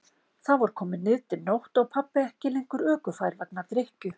Þá var komin niðdimm nótt og pabbi ekki lengur ökufær vegna drykkju.